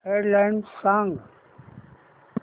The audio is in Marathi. हेड लाइन्स सांग